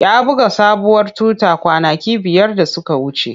Ya buga sabuwar tuta kwanaki biyar da suka wuce.